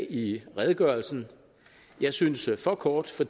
i redegørelsen og jeg synes for kort for